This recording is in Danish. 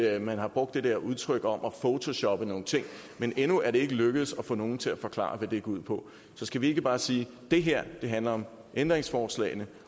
at man har brugt det der udtryk om at photoshoppe nogle ting men endnu er det ikke lykkedes at få nogen til at forklare hvad det går ud på så skal vi ikke bare sige at det her handler om ændringsforslagene